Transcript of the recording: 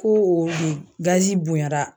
Ko o de gazi bonyara